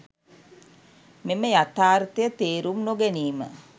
මෙම යථාර්ථය තේරුම් නොගැනීම